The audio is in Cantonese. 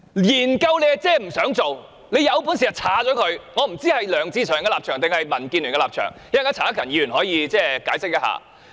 研究即是不想做，他有本事便刪除，我不知道這是梁志祥議員的立場還是民建聯的立場，稍後陳克勤議員可以解釋一下。